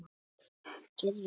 Það getur reynst erfitt.